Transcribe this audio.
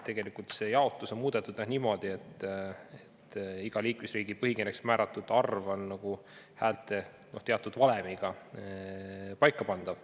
Tegelikult see jaotus on muudetud niimoodi, et iga liikmesriigi põhikirjas määratud arv on nagu teatud valemiga paika pandav.